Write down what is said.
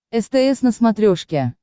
стс на смотрешке